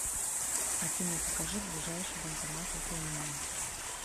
афина покажи ближайший банкомат около меня